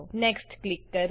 next click કરો